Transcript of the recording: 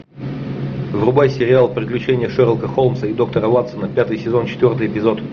врубай сериал приключения шерлока холмса и доктора ватсона пятый сезон четвертый эпизод